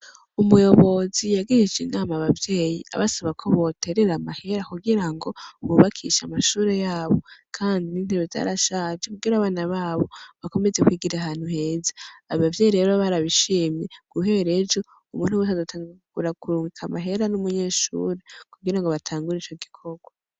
Umuyobozi yagihishe inama abavyeyi abasaba ko boterera amahera kugira ngo wubakisha amashure yabo, kandi n'intere zarashaje kugira abana babo bakomeze kwigira ahantu heza abavyeyi rero barabishimye guherejo umuntu wese adatangagura kurunka amahera n'umunyeshure kugira ngo batangure ico gikorwa.